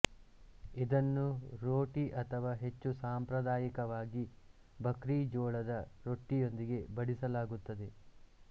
ಇದನ್ನು ರೋಟಿ ಅಥವಾ ಹೆಚ್ಚು ಸಾಂಪ್ರದಾಯಿಕವಾಗಿ ಭಕ್ರಿಜೋಳದ ರೊಟ್ಟಿಯೊಂದಿಗೆ ಬಡಿಸಲಾಗುತ್ತದೆ